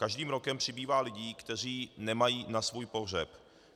Každým rokem přibývá lidí, kteří nemají na svůj pohřeb.